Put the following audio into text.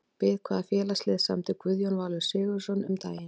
Við hvaða félagslið samdi Guðjón Valur Sigurðsson um daginn?